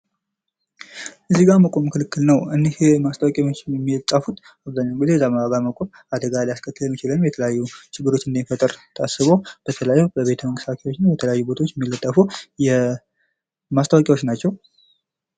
እዚህ ጋር መቆም ክልክል ነዉ⚠️ እነዚህ ማስታወቂያ የሚፃፉት አብዛኛዉን ጊዜ እዚያ መቆም አደጋ ሊያስከትሉ የሚችል የተለያዩ ችግሮች እንዳይፈጠሩ ታስቦ በተለይም በቤተመንግስት አካባቢ እና በተለያዩ ቦታዎች የሚለጠፉ ማስታወቂያዎት ናቸዉ።